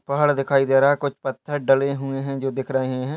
पहाड़ दिखाई दे रहा है कुछ पत्थर डले हुए हैं जो दिख रहे हैं।